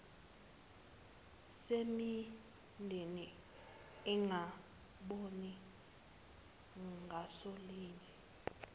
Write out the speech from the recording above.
semindeni engaboni ngasolinye